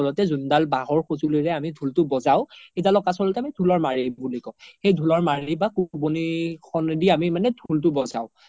জোন দাল বাহৰ খ্জোলিৰে আমি ধুলতো বজাও সেইদালক আমি ধুলৰ মাৰি বুলি কও সেই ধুলৰ মাৰি বা কুব্নি খনে দি আমি ধুলটো বজাও